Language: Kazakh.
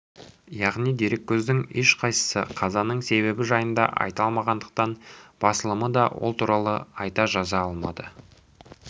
яғни дереккөздің ешқайсысы қазаның себебі жайында айта алмағандықтан басылымы да ол туралы айта жаза алмады